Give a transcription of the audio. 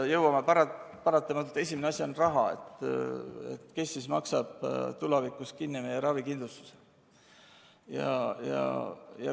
Jõuame paratamatult selleni, et esimene asi on raha: kes maksab tulevikus kinni meie ravikindlustuse.